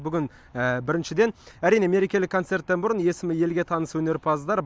бүгін біріншіден әрине мерекелік концерттен бұрын есімі елге таныс өнерпаздар